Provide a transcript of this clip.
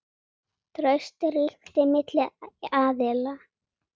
Traust ríkti milli aðila.